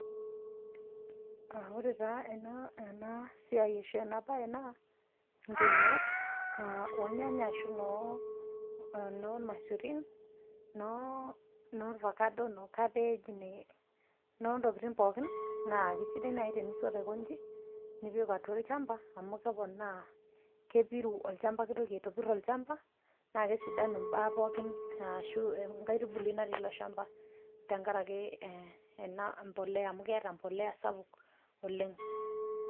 Ore taa ana siai eshonapai naa nkinyat olnyanya ashu noolmasurin noo ovacado noo cabbage nontokini pookini naa esidai nai tinisot aikonchi nipik atua lchamba amu keponaa kepiru olchamba keitoki aitobir olchamba naa kesidanu mbaa pookin ashu nkae ntubuli natii ilo shamba tengaraki ena mbolea amu keeta mbolea sapuk oleng.